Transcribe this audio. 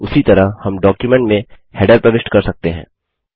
उसी तरह हम डॉक्युमेंट में हैडर प्रविष्ट कर सकते हैं